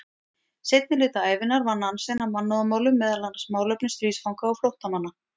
Seinni hluta ævinnar vann Nansen að mannúðarmálum, meðal annars málefnum stríðsfanga og flóttamanna.